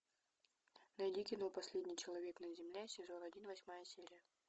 найди кино последний человек на земле сезон один восьмая серия